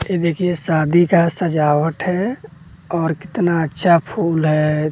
ये देखिए शादी का सजावट है और कितना अच्छा फूल है।